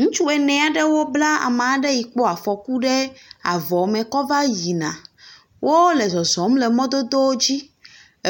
Ŋutsu ene aɖewo bla ame aɖe yi kpɔ afɔku ɖe avɔme kɔva yina. Wole zɔzɔm le mɔdodo dzi.